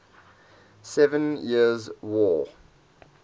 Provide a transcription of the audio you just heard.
seven years war